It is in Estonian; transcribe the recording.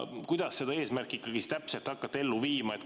Kuidas te seda eesmärki siis ikkagi täpselt hakkate ellu viima?